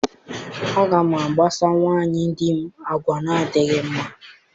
Aga m akpasa nwunye di m agwa na-adịghị mma.